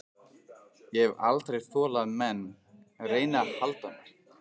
Ég hef aldrei þolað að menn reyni að halda mér.